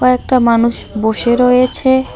কয়েকটা মানুষ বসে রয়েছে।